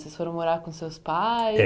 Vocês foram morar com seus pais? É